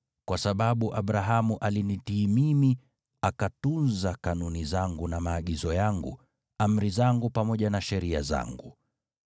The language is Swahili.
kwa sababu Abrahamu alinitii mimi akatunza kanuni zangu na maagizo yangu, amri zangu pamoja na sheria zangu.”